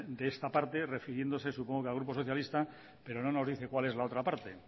de esta parte refiriéndose supongo que al grupo socialista pero no nos dice cuál es la otra parte